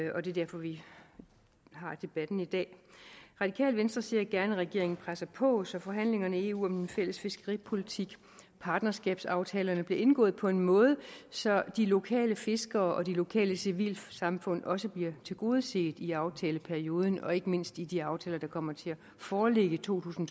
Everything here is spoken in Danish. og det er derfor vi har debatten i dag radikale venstre ser gerne at regeringen presser på så forhandlingerne i eu om en fælles fiskeripolitik og partnerskabsaftalerne bliver indgået på en måde så de lokale fiskere og de lokale civilsamfund også bliver tilgodeset i i aftaleperioden og ikke mindst i de aftaler der kommer til at foreligge i to tusind